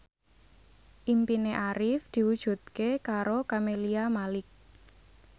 impine Arif diwujudke karo Camelia Malik